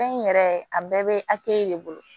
Fɛn in yɛrɛ a bɛɛ bɛ hakɛ de bolo